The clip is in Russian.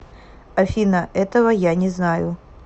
афина этого я не знаю